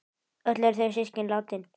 Öll eru þau systkin látin.